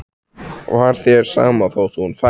Var þér sama þótt hún færi?